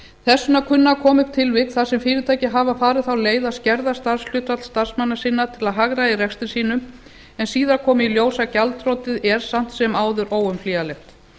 þess vegna kunna að koma upp tilvik þar sem fyrirtæki hafa farið þá leið skerða starfshlutfall starfsmanna sinna til að hagræða í rekstri sínum en síðan komi í ljós að gjaldþrotið er samt sem áður óumflýjanlegt